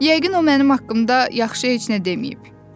Yəqin o mənim haqqımda yaxşı heç nə deməyib.